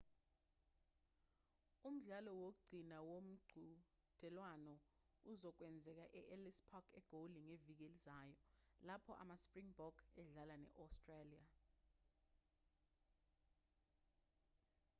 umdlalo wokugcina womqhudelwano uzokwenzeka e-ellis park egoli ngeviki elizayo lapho ama-springbok edlala ne-australia